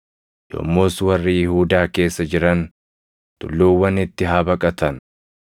yommus warri Yihuudaa keessa jiran tulluuwwanitti haa baqatan.